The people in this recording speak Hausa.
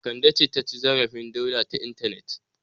Kande ce ta ci zarafin Dauda ta intanet.